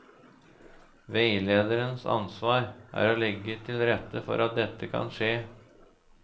Veilederens ansvar er å legge til rette for at dette kan skje.